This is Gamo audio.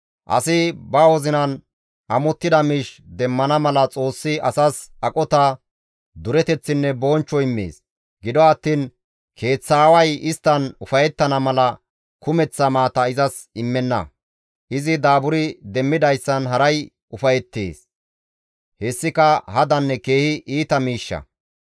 Asi ba wozinan amottida miish demmana mala Xoossi asas aqota, dureteththinne bonchcho immees; gido attiin keeththaaway isttan ufayettana mala kumeththa maata izas immenna; izi daaburi demmidayssan haray ufayettees; hessika hadanne keehi iita miishsha.